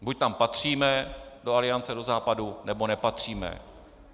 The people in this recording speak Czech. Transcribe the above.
Buď tam patříme, do Aliance, do Západu, nebo nepatříme.